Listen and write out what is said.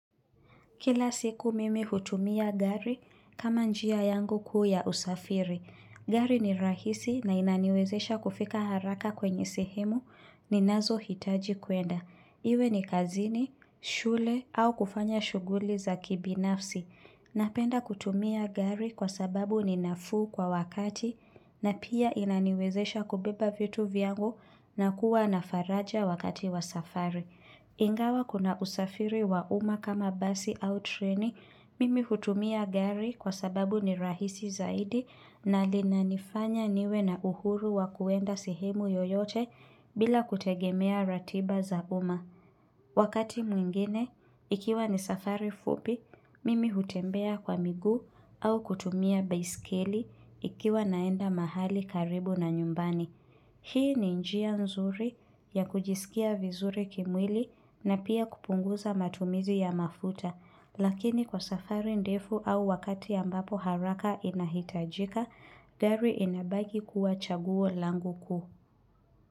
Kila siku mimi hutumia gari kama njia yangu kuu ya usafiri. Gari ni rahisi na inaniwezesha kufika haraka kwenye sehemu ni nazo hitaji kuenda. Iwe ni kazini, shule au kufanya shughuli za kibi nafsi. Napenda kutumia gari kwa sababu ninafu kwa wakati na pia inaniwezesha kubeba vitu vyangu na kuwa nafaraja wakati wa safari. Ingawa kuna usafiri wa uma kama basi au treni, mimi hutumia gari kwa sababu ni rahisi zaidi na lina nifanya niwe na uhuru wa kuenda sehemu yoyote bila kutegemea ratiba za uma. Wakati mwingine, ikiwa ni safari fupi, mimi hutembea kwa miguu au kutumia biskeli ikiwa naenda mahali karibu na nyumbani. Hii ni njia nzuri ya kujisikia vizuri kimwili na pia kupunguza matumizi ya mafuta. Lakini kwa safari ndefu au wakati ambapo haraka inahitajika, dari inabagi kuwa chaguo langu kuhu.